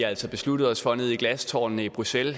altså besluttet os for nede i glastårnene i bruxelles at